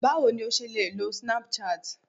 bawo ni o ṣe lè lo Snapchat